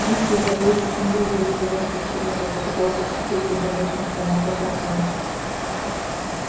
жить хотят лучше чем другие стремятся к чему-то попытался вступиться за местных челноков артём